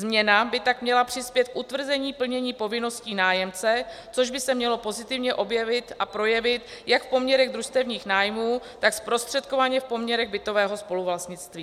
Změna by tak měla přispět k utvrzení plnění povinností nájemce, což by se mělo pozitivně objevit a projevit jak v poměrech družstevních nájmů, tak zprostředkovaně v poměrech bytového spoluvlastnictví.